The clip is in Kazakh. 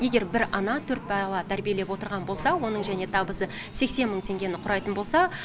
егер бір ана төрт бала тәрбиелеп отырған болса оның және табысы сексен мың теңгені құрайтын болса